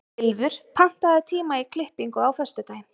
Ylfur, pantaðu tíma í klippingu á föstudaginn.